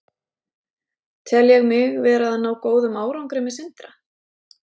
Tel ég mig vera að ná góðum árangri með Sindra?